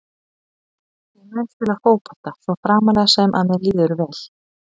Ég mun spila fótbolta svo framarlega sem að mér líður vel.